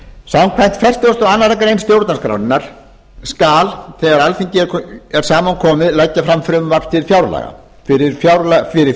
samkvæmt fertugustu og aðra grein stjórnarskrárinnar skal þegar alþingi er saman komið leggja fram frumvarp til fjárlaga fyrir